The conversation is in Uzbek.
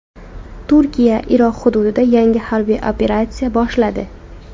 Turkiya Iroq hududida yangi harbiy operatsiya boshladi.